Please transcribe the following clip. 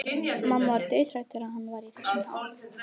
Mamma var dauðhrædd þegar hann var í þessum ham.